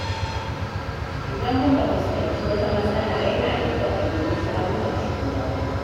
Idan muka fuskanci wata matsala yana da kyau a nemi shawarar shugaba.